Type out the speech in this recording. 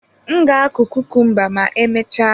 M ga-akụ kukumba ma emechaa.